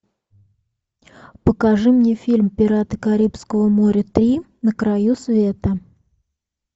покажи мне фильм пираты карибского моря три на краю света